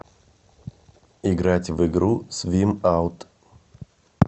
играть в игру свим аут